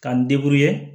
K'an